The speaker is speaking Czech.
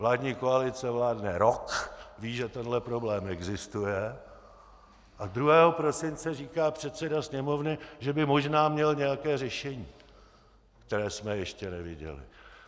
Vládní koalice vládne rok, ví, že tenhle problém existuje, a 2. prosince říká předseda Sněmovny, že by možná měl nějaké řešení, které jsme ještě neviděli.